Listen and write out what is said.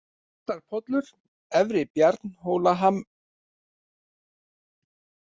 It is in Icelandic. Réttarpollur, Efri-Bjarnhólakeldur, Merarhamrar, Ytriteigur